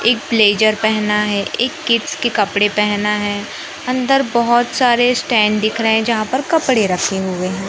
एक ब्लेजर पहना है एक किड्स के कपड़े पहना है अन्दर बहोत सारे स्टैंड दिख रहे है जहां पर कपड़े रखे हुए है।